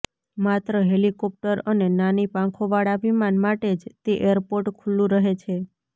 માત્ર હેલિકોપ્ટર અને નાની પાંખોવાળા વિમાન માટે જ તે એરપોર્ટ ખુલ્લંુ રહે છે